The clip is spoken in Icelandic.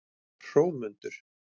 Hrómundur